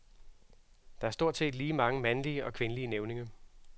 Der er stort set lige mange mandlige og kvindelige nævninge.